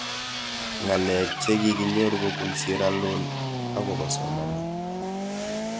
Ng'alek che kikinyor kopun sierra leon akopo somanet